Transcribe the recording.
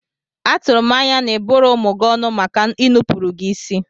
Atụrụ m anya na ịbụrọ ụmụ gị ọnụ maka inupụrụ gị isi?